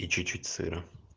и чуть-чуть сыра